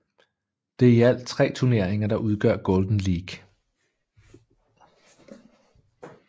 Det er i alt tre turneringer der udgør Golden League